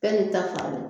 Bɛɛ n'i ta fan don